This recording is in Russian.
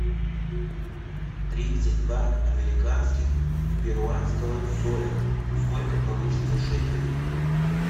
тридцать два американских перуанского соля сколько получится шекелей